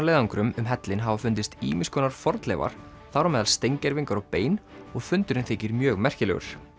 köfunarleiðangrum um hellinn hafa fundist fornleifar þar á meðal steingervingar og bein og fundurinn þykir mjög merkilegur